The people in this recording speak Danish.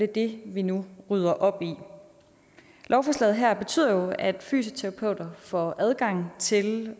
det vi nu rydder op i lovforslaget her betyder jo at fysioterapeuter får adgang til